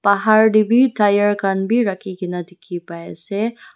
bahar teh bi tyre khan bi rakhigena dikhi pai ase.